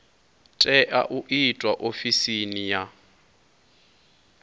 tea u itwa ofisini ya